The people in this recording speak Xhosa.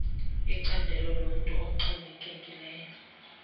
icandelo lomntu oxhomekekileyo